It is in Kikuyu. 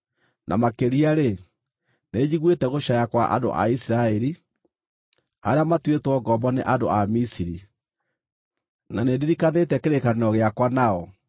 Na makĩria-rĩ, nĩnjiguĩte gũcaaya kwa andũ a Isiraeli, arĩa matuĩtwo ngombo nĩ andũ a Misiri, na nĩndirikanĩte kĩrĩkanĩro gĩakwa nao.